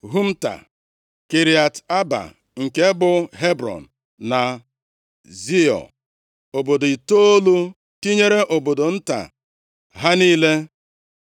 Humta, Kiriat Aba nke bụ Hebrọn na Zior, obodo itoolu tinyere obodo nta ha niile.